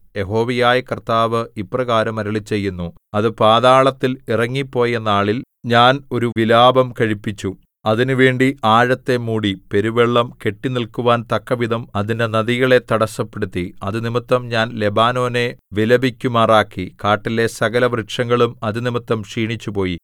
യഹോവയായ കർത്താവ് ഇപ്രകാരം അരുളിച്ചെയ്യുന്നു അത് പാതാളത്തിൽ ഇറങ്ങിപ്പോയനാളിൽ ഞാൻ ഒരു വിലാപം കഴിപ്പിച്ചു അതിന് വേണ്ടി ആഴത്തെ മൂടി പെരുവെള്ളം കെട്ടിനില്ക്കുവാൻ തക്കവിധം അതിന്റെ നദികളെ തടസ്സപ്പെടുത്തി അതുനിമിത്തം ഞാൻ ലെബാനോനെ വിലപിക്കുമാറാക്കി കാട്ടിലെ സകലവൃക്ഷങ്ങളും അതുനിമിത്തം ക്ഷീണിച്ചുപോയി